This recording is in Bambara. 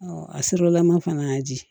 a sirilama fana y'a di